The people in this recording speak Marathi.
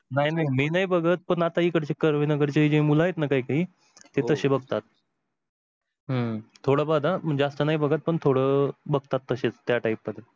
नाही नाही मी नाही बघत आता ती इकडची कर्वे नगारचि मूल आहेत ना ती अशी बघतात. हम्म थोड फार हा जास्त नाही बघत पण थोडं बघतात तसेच त्या type मध्ये.